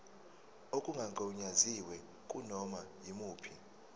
okungagunyaziwe kunoma yimuphi